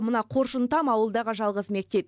мына қоржынтам ауылдағы жалғыз мектеп